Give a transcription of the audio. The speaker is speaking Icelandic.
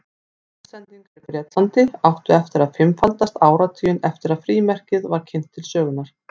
Póstsendingar í Bretlandi áttu eftir að fimmfaldast áratuginn eftir að frímerkið var kynnt til sögunnar.